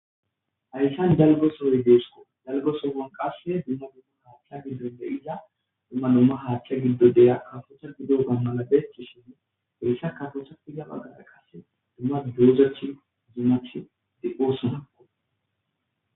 hayssan jalgo sohoy deesko dalgo sogon qase dumma dumma haaththa giddon de iza dumma dumma haaththa giddo deya afocha gidota mala beechci shini heyssa katotha i ga maqaqa qase dumma dozach dimath de oosonao